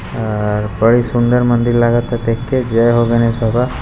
अ बड़ी सुंदर मंदिर लागत देख के जय हो गणेश बाबा।